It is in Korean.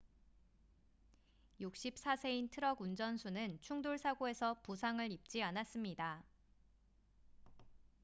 64세인 트럭 운전수는 충돌 사고에서 부상을 입지 않았습니다